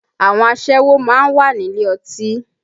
Àwọn aṣẹ́wó máa ń wà nílé ọtí